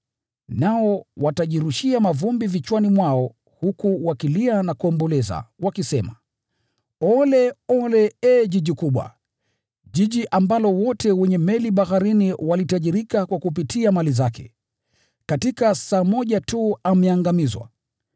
Nao watajirushia mavumbi vichwani mwao, huku wakilia na kuomboleza, wakisema: “ ‘Ole! Ole, ee mji mkubwa, mji ambao wote wenye meli baharini walitajirika kupitia kwa mali zake! Katika saa moja tu ameangamizwa!